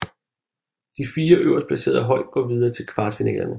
De 4 øverst placerede hold går videre til kvartfinalerne